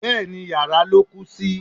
Bẹ́ẹ̀ni, yàrá ló kú sí.